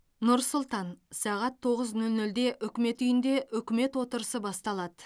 нұр сұлтан сағат тоғыз нөл нөлде үкімет үйінде үкімет отырысы басталады